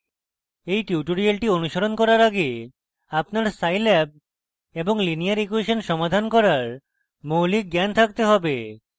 এই টিউটোরিয়ালটি অনুশীলন করার আগে আপনার scilab এবং লিনিয়ার ইকুয়়েসন সমাধান করার মৌলিক জ্ঞান থাকতে হবে